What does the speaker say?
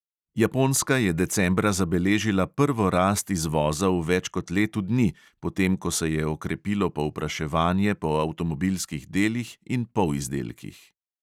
Japonska je decembra zabeležila prvo rast izvoza v več kot letu dni, potem ko se je okrepilo povpraševanje po avtomobilskih delih in polizdelkih.